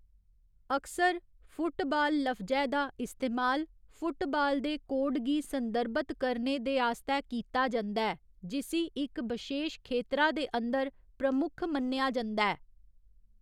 अक्सर, फुटबाल लफ्जै दा इस्तेमाल फुटबाल दे कोड गी संदर्भत करने दे आस्तै कीता जंदा ऐ जिसी इक बशेश खेतरा दे अंदर प्रमुख मन्नेआ जंदा ऐ।